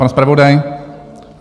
Pan zpravodaj?